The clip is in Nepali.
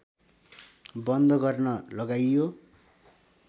बन्द गर्न लगाइयो